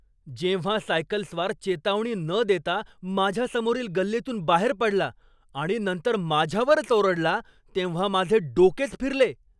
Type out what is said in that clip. जेव्हा सायकलस्वार चेतावणी न देता माझ्या समोरील गल्लीतून बाहेर पडला आणि नंतर माझ्यावरच ओरडला तेव्हा माझे डोकेच फिरले.